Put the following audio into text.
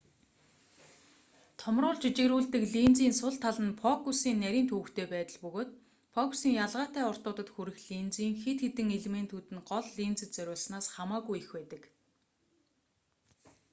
томруулж жижигрүүлдэг линзийн сул тал нь фокусын нарийн төвөгтэй байдал бөгөөд фокусын ялгаатай уртуудад хүрэх линзийн хэд хэдэн элементүүд нь гол линзэд зориулснаас хамаагүй их байдаг